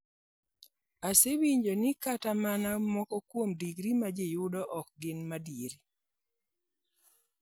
Asewinjo ni kata mana moko kuom digri ma ji yudo ok gin madier.